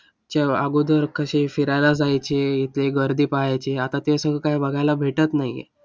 च्या अगोदर कसे फिरायला जायचे, इथे गर्दी पहायची, आता ते सगळं काय बघायला भेटत नाहीये.